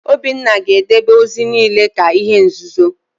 Obinna ga-edebe ozi niile ka ihe nzuzo!